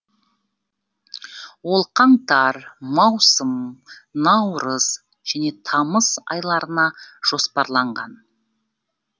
ол қаңтар маусым наурыз және тамыз айларына жоспарланған